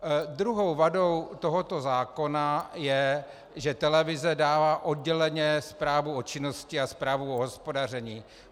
Druhou vadou tohoto zákona je, že televize dává odděleně zprávu o činnosti a zprávu o hospodaření.